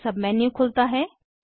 एक सबमेन्यू खुलता है